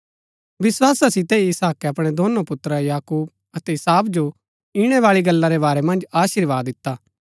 विस्‍वासा सितै ही इसहाकै अपणै दोनो पुत्र याकूब अतै एसाव जो ईणैबाळी गल्ला रै बारै मन्ज अशीर्वाद दिता